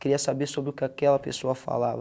Queria saber sobre o que aquela pessoa falava.